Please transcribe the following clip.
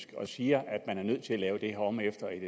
og siger at man er nødt til at lave det her om efter et